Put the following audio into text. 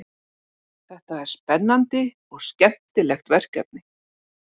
Þetta er spennandi og skemmtilegt verkefni